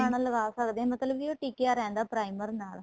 ਲਗਾਣਾ ਲਗਾ ਸਕਦੇ ਹਾਂ ਮਤਲਬ ਕੀ ਉਹ ਟਿਕੀਆਂ ਰਹਿੰਦਾ primer ਨਾਲ